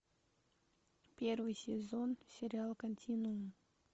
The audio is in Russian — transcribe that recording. первый сезон сериал континуум